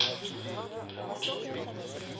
прям очень обидно